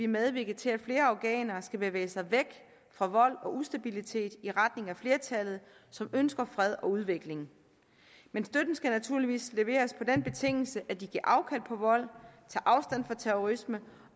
medvirke til at flere afghanere skal bevæge sig væk fra vold og ustabilitet og i retning af et flertal som ønsker fred og udvikling men støtten skal naturligvis leveres på den betingelse at de giver afkald på vold tager afstand fra terrorisme